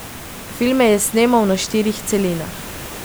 Filme je snemal na štirih celinah.